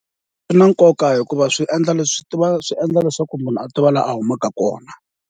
Swi na nkoka hikuva swi endla leswi swi endla leswaku munhu a tiva laha a humaka kona.